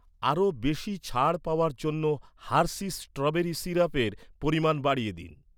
আরও বেশি ছাড় পাওয়ার জন্য হার্শিস স্ট্রবেরি সিরাপের পরিমাণ বাড়িয়ে দিন।